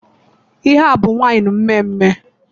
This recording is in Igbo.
Ihe a abụ waịnụ mmeemee?